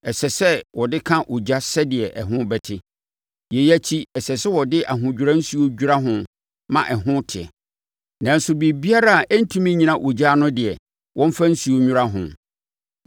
ɛsɛ sɛ wɔde ka ogya sɛdeɛ ɛho bɛte. Yei akyi, ɛsɛ sɛ wɔde ahodwira nsuo dwira ho ma ɛho te. Nanso, biribiara a ɛrentumi nnyina ogya ano no deɛ, wɔmfa nsuo nnwira ho.